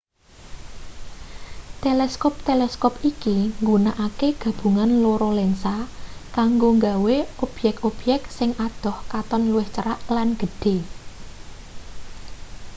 teleskop teleskop iki nggunakake gabungan loro lensa kanggo gawe objek-objek sing adoh katon luwih cerak lan gedhe